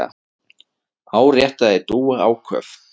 áréttaði Dúa áköf.